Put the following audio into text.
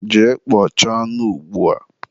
jee kpọchaa anụ ugbua!